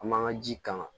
An m'an ka ji kan